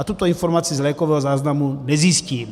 A tuto informaci z lékového záznamu nezjistím.